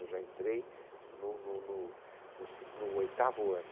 Eu já entrei no no no seg, no oitavo ano.